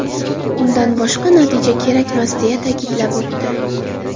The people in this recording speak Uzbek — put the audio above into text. Undan boshqa natija kerakmas”, − deya ta’kidlab o‘tdi.